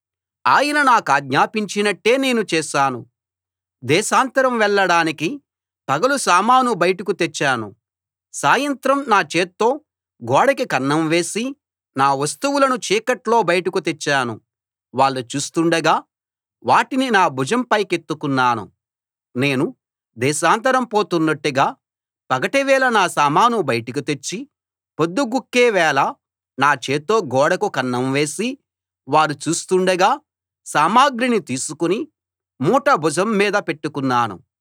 ఆయన నాకాజ్ఞాపించినట్టే నేను చేశాను దేశాంతరం వెళ్ళడానికి పగలు సామాను బయటకు తెచ్చాను సాయంత్రం నా చేత్తో గోడకి కన్నం వేసి నా వస్తువులను చీకట్లో బయటకు తెచ్చాను వాళ్ళు చూస్తుండగా వాటిని నా భుజం పైకెత్తుకున్నాను నేను దేశాంతరం పోతున్నట్టుగా పగటివేళ నా సామాను బయటికి తెచ్చి పొద్దుగుంకే వేళ నా చేత్తో గోడకు కన్నం వేసి వారు చూస్తుండగా సామగ్రిని తీసుకుని మూట భుజం మీద పెట్టుకున్నాను